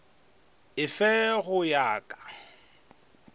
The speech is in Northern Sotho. e fe go ya ka